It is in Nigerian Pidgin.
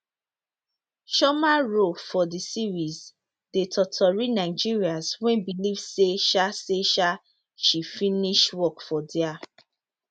chioma role for di series dey totori nigerians wey believe say um say um she finish work for dia